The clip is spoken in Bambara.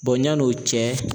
yan'o cɛ.